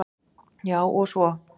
Já, og svo.